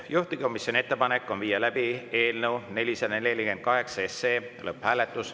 Juhtivkomisjoni ettepanek on viia läbi eelnõu 448 lõpphääletus.